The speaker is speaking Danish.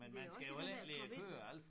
Men det jo også det der med at komme ind